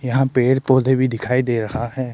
यहां पेड़ पौधे भी दिखाई दे रहा है।